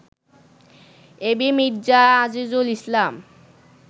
AB Mirza Azizul Islam